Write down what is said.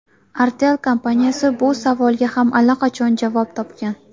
Artel kompaniyasi bu savolga ham allaqachon javob topgan.